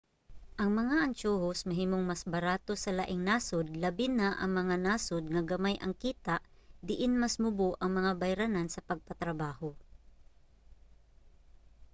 ang mga antiyohos mahimong mas barato sa laing nasod labi na ang mga nasod nga gamay ang kita diin mas mubo ang mga bayranan sa pagpatrabaho